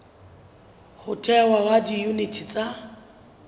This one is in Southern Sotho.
ho thehwa ha diyuniti tsa